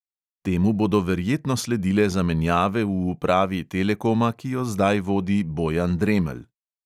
Temu bodo verjetno sledile zamenjave v upravi telekoma, ki jo zdaj vodi bojan dremelj.